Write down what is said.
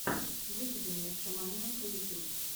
выведи мне шаманенка ютюб